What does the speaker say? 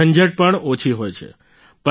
ઝંઝટ પણ ઓછી હોય છે